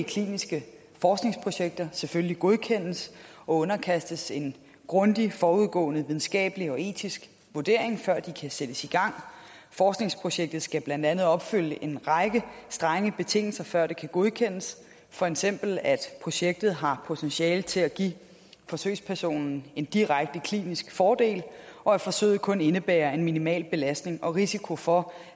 kliniske forskningsprojekter selvfølgelig godkendes og underkastes en grundig forudgående videnskabelig og etisk vurdering før de kan sættes i gang forskningsprojektet skal blandt andet opfylde en række strenge betingelser før det kan godkendes for eksempel at projektet har potentiale til at give forsøgspersonen en direkte klinisk fordel og at forsøget kun indebærer en minimal belastning og risiko for